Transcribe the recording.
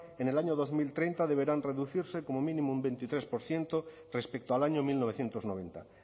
en el año dos mil treinta deberán reducirse como mínimo un veintitrés por ciento respecto al año mil novecientos noventa